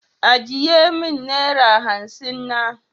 Ajiye min naira hansin na.